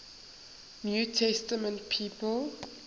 new testament people